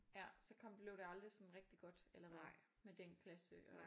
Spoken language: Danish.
Ja så kom blev det aldrig sådan rigtig godt eller hvad med den klasse og